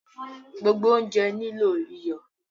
Gbogbo ounjẹ nilo iyọ